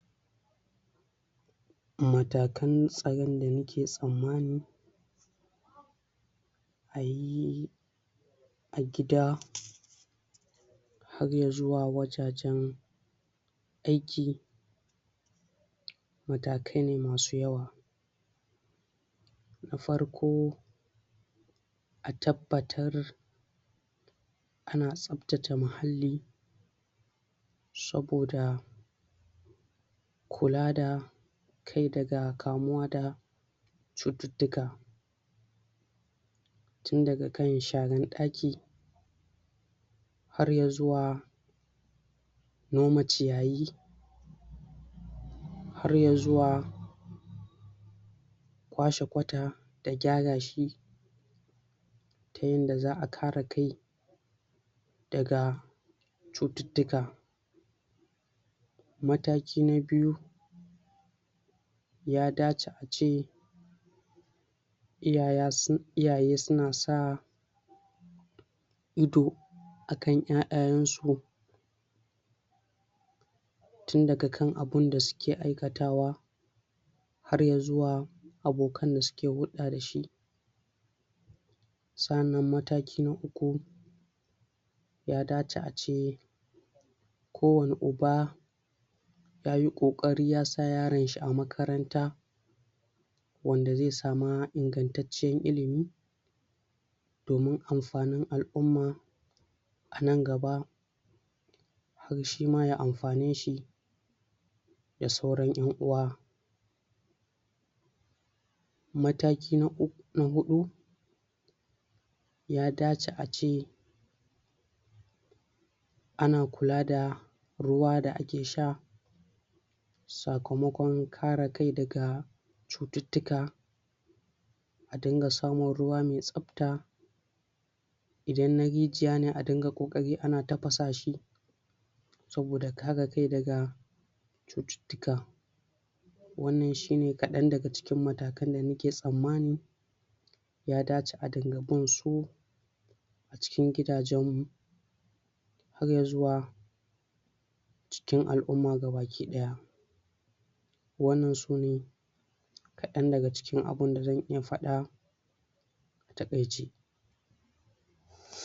Matakan tsaron da muke tsammani ayi a gida har ya zuwa wajajen aiki matakai ne masu yawa. Da farko; A tabbatar ana tsaftace mahalli saboda kula da kai daga kamuwa da cututtuka. Tun daga kan sharan ɗaki, har ya zuwa noma ciyayi, har ya zuwa kwashe kwata da gyara shi, ta yanda za'a kare kai daga cututtuka. Mataki na biyu; Ya dace ace iyaya, iyaye su na sa ido akan ƴaƴayen su tun daga kan abunda suke aikatawa, har ya zuwa abokan da suke huɗɗa da shi. Sa'annan mataki na uku; Ya dace ace kowane uba yayi ƙoƙari ya sa yaron shi a makaranta wanda zai sama ingantaccen ilimi domin amfanin al'umma nan gaba shi ma ya mafane shi da sauran ƴan-uwa. Mataki na uk, na huɗu; Ya dace ace ana kula da ruwa da ake sha sakamakon kare kai daga cututtuka. A dinga samun ruwa mai tsafta. Idan na rijiya ne a dinga ƙoƙari ana tafasa shi saboda kare kai daga cututtuka. Wannan shi ne kaɗan daga cikin matakan da muke tsammani ya dace a dinga bin su cikin gidajen mu har ya zuwa cikin al'umma ga baki ɗaya. Wannan su ne kadan daga cikin abunda zan iya faɗa a taƙaice.